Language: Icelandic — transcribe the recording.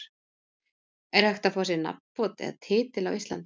Er hægt að fá sér nafnbót eða titil á Íslandi?